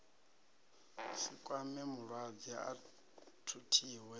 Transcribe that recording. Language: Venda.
si kwame mulwadze a thuthiwe